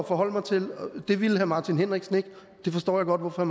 forholde mig til det ville herre martin henriksen ikke og det forstår jeg godt hvorfor